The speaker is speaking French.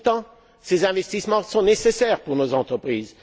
Pourtant, ces investissements sont nécessaires pour nos entreprises.